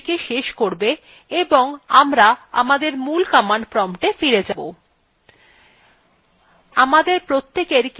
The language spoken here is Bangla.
এইটি shell ২কে শেষ করবে এবং আমরা আমাদের মূল command promptwe ফিরে যাব